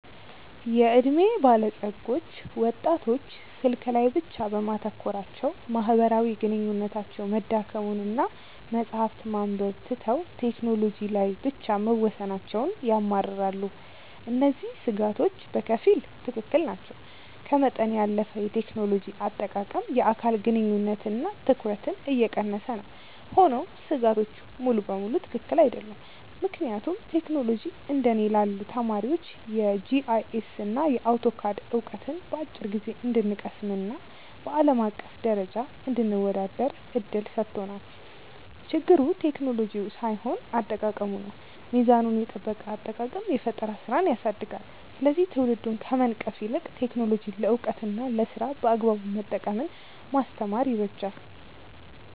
የዕድሜ ባለጸጎች ወጣቶች ስልክ ላይ ብቻ በማተኮራቸው ማህበራዊ ግንኙነታቸው መዳከሙንና መጽሐፍት ማንበብ ትተው ቴክኖሎጂ ላይ ብቻ መወሰናቸውን ያማርራሉ። እነዚህ ስጋቶች በከፊል ትክክል ናቸው፤ ከመጠን ያለፈ የቴክኖሎጂ አጠቃቀም የአካል ግንኙነትንና ትኩረትን እየቀነሰ ነው። ሆኖም ስጋቶቹ ሙሉ በሙሉ ትክክል አይደሉም፤ ምክንያቱም ቴክኖሎጂ እንደ እኔ ላሉ ተማሪዎች የጂአይኤስና አውቶካድ ዕውቀትን በአጭር ጊዜ እንድንቀስምና በአለም አቀፍ ደረጃ እንድንወዳደር እድል ሰጥቶናል። ችግሩ ቴክኖሎጂው ሳይሆን አጠቃቀሙ ነው። ሚዛኑን የጠበቀ አጠቃቀም የፈጠራ ስራን ያሳድጋል፤ ስለዚህ ትውልዱን ከመንቀፍ ይልቅ ቴክኖሎጂን ለዕውቀትና ለስራ በአግባቡ መጠቀምን ማስተማር ይበጃል።